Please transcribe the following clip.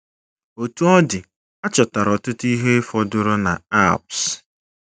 Otú ọ dị, a chọtara ọtụtụ ihe fọdụrụ na Alps